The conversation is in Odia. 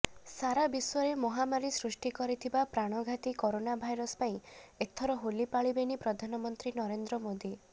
ସାରାବିଶ୍ୱରେ ମହାମାରୀ ସୃଷ୍ଟି କରିଥିବା ପ୍ରାଣଘାତୀ କୋରୋନା ଭାଇରସ ପାଇଁ ଏଥର ହୋଲି ପାଳିବେନି ପ୍ରଧାନମନ୍ତ୍ରୀ ନରେନ୍ଦ୍ର ମୋଦୀ